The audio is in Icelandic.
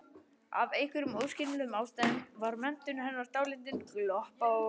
Af einhverjum óskiljanlegum ástæðum var menntun hennar dálítið gloppótt.